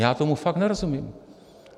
Já tomu fakt nerozumím.